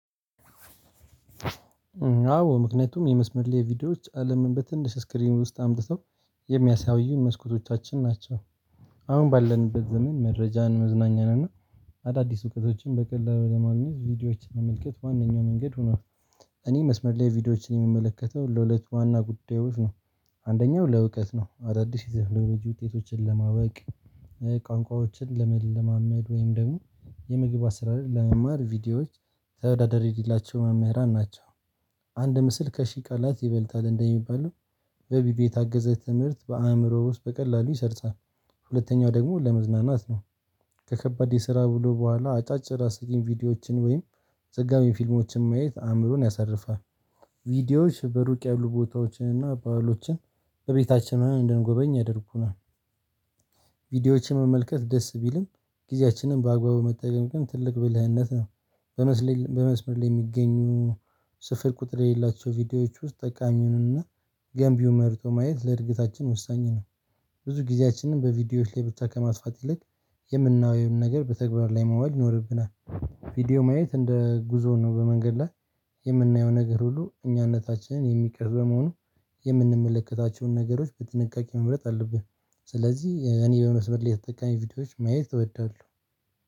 አዎ ምክንያቱም የመስመር ላይ ቪዲዮዎች አለምን በትንሽ ስክሪን ውስጥ አምጥተው የሚያሳዩን መስኮቶቻችን ናቸው። አሁን ባለንበት ዘመን መረጃን መዝናኛን እና አዳዲስ እውቀቶችን በቀላሉ ለማግኘት ቪዲዮዎችን መመልከት ዋናኛው መንገድ ሆኗል። እኔ መስመር ላይ ቪዲዮዎችን የምመለከተው ለሁለት ዋና ጉዳዮች ነው። አንደኛው ለእውቀት ነው አዳዲስ የ ቴክኖሎጂ ውጤቶችን ለማወቅ። ቋንቋዎችን ለመለማመድ ወይም ደግሞ የምግብ አሰራር ለመማር ቪዲዮዎች ተወዳደር የሌላቸው መምህራን ናቸው። አንድ ምስል ከሺህ ቃላት ይበልጣል እንደሚባለው በቢቢ የታገዘ ትምህርት በአእምሮ ውስጥ በቀላሉ ይሰርጻል። ሁለተኛው ደግሞ ለመዝናናት ነው። ከከባድ የስራ ውሎ በኋላ አጫጭር አስቂኝ ቪዲዮዎችን ወይም ዘጋቢ ፊልሞችን ማየት አምሮን ያሳርፋል። ቪዲዮዎች በሩቅ ያሉ ቦታዎችን እና ባህሎችን በቤታችን ሆነን እንደንጎበኝ ያደርጉናል። ቪዲዮዎችን መመልከት ደስ ቢልም ጊዜያችንን በአግባቡ መጠቀም ግን ትልቅ ብልህነት ነው። በመስመር ላይ የሚገኙ ስፍር ቁጥር የሌላቸው ቪዲዮዎች ውስጥ ጠቃሚውንና ገንቢው መርጦ ማየት ለእድገታችን ወሳኝ ነው። ብዙ ጊዜያችንን በቪዲዮዎች ላይ ብቻ ከማስፋት ይልቅ የምናወይም ነገር በተግባር ላይ ማዋል ይኖርብናል። ቪዲዮ ማየት እንደ ጉዞው ነው በመንገድ ላይ የምናየው ነገር ሁሉ እኛነታችንን የሚቀር በመሆኑ የምንመለከታቸውን ነገሮች በጥንቃቄ መምረጥ አለብን። ስለዚህ እኔ በመስመር ላይ የተጠቃሚ ቪዲዮዎች ማየት እወዳለሁ።